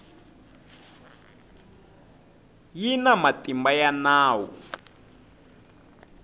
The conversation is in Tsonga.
yi na matimba ya nawu